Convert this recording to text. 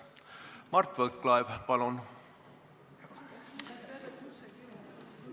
Mart Võrklaev, palun!